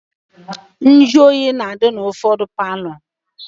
Njuoyi na-adị n'ụfọdụ palọ